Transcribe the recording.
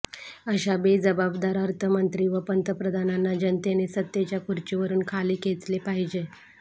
अशा बेजबाबदार अर्थमंत्री व पंतप्रधानांना जनतेने सत्तेच्या खुर्चीवरुन खाली खेचले पाहिजे